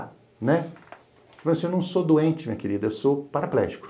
Né? Eu falo assim não sou doente, minha querida, eu sou paraplégico.